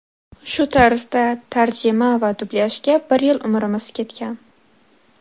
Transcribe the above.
Shu tarzda tarjima va dublyajga bir yil umrimiz ketgan.